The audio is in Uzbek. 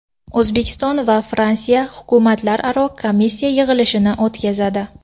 O‘zbekiston va Fransiya hukumatlararo komissiya yig‘ilishini o‘tkazadi.